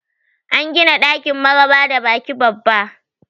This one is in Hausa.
An gina ɗakin maraba da baki babba